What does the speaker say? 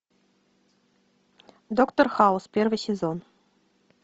доктор хаус первый сезон